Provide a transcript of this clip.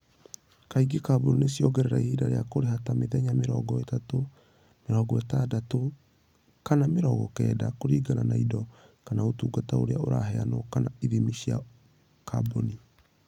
Kaingĩ kambuni nĩ ciongerera ihinda rĩa kũrĩha, ta mĩthenya mĩrongo ĩtatũ, mĩrongo ĩtandatũ, kana mĩrongo kenda, kũringana na indo kana ũtungata ũrĩa ũraheanwo kana ithimi cia kambuni.